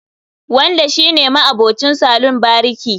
Wanda shi ne ma'abucin salon bariki